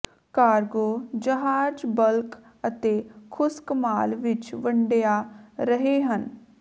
cargo ਜਹਾਜ਼ bulk ਅਤੇ ਖੁਸ਼ਕ ਮਾਲ ਵਿੱਚ ਵੰਡਿਆ ਰਹੇ ਹਨ